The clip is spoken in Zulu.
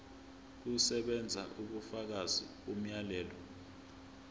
kusebenza ubufakazi bomyalelo